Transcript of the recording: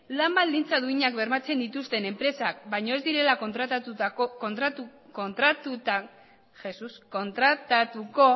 lan baldintza duinak bermatzen dituzten enpresak baino ez direla kontratatuko